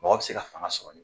Mɔgɔ bɛ se ka fanga sɔrɔ nin